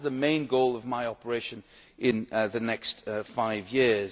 That is the main goal of my operation in the next five